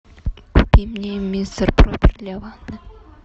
купи мне мистер проппер для ванны